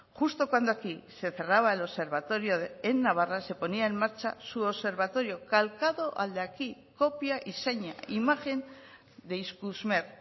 justo cuando aquí se cerraba el observatorio en navarra se ponía en marcha su observatorio calcado al de aquí copia y seña imagen de ikusmer